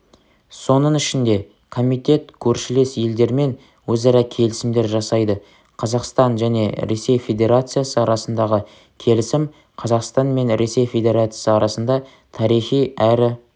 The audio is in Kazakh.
соның ішінде комитет көршілес елдермен өзара келісімдер жасайды қазақстан және ресей федерациясы арасындағы келісім қазақстан мен ресей федерациясы арасында тарихи әрі